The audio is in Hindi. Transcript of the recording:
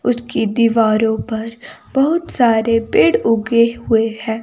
उसकी दीवारों पर बहुत सारे पेड़ उगे हुए हैं।